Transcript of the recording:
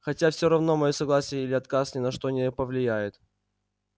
хотя всё равно моё согласие или отказ ни на что не повлияет